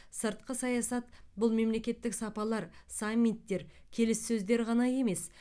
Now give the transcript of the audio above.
сыртқы саясат бұл мемлекеттік сапарлар саммиттер келіссөздер ғана емес